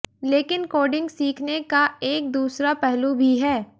लेकिन कोडिंग सीखने का एक दूसरा पहलू भी है